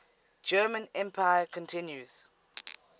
german empire continues